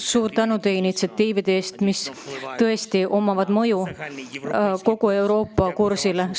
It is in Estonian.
Suur tänu teie initsiatiivide eest, millel tõesti on mõju kogu Euroopa kursile!